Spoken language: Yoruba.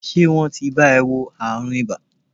Ṣé wọ́n ti bá e wo àrùn ibà?